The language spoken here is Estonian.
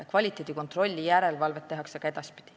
Kvaliteedikontrolli ja järelevalvet tehakse ka edaspidi.